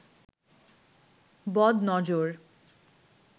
বদ নজর